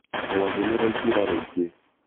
rwagĩ nĩrwaingĩra rwĩingĩ